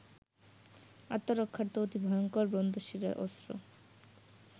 আত্মরক্ষার্থ অতি ভয়ঙ্কর ব্রহ্মশিরা অস্ত্র